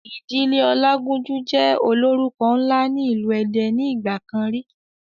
Ìdílé ọlágúnjú jẹ́ ólórúko ńlá ni ilu èdè ni ìgbàkan rí